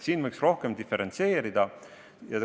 Siin võiks rohkem diferentseerida.